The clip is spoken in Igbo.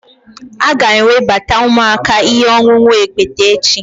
A ga-ewebata ụmụaka ihe ọṅụṅụ okpete echi